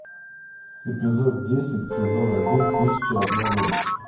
эпизод десять сезон один тысяча и одна ночь